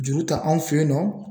Juru ta anw fɛ yen nɔ